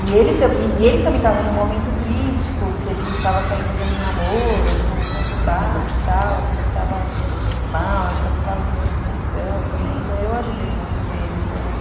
E ele também e ele também estava num momento crítico, que ele estava saindo de um namoro um pouco conturbado e tal, e estava mal, acho que até estava meio em depressão também, então eu ajudei muito ele também.